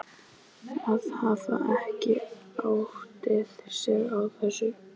Að hafa ekki áttað sig á þessu!